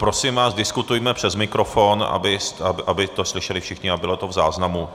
Prosím vás, diskutujme přes mikrofon, aby to slyšeli všichni a bylo to v záznamu.